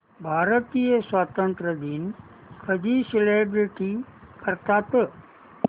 भारतीय स्वातंत्र्य दिन कधी सेलिब्रेट करतात